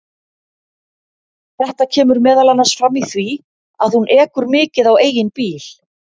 Þetta kemur meðal annars fram í því að hún ekur mikið á eigin bíl.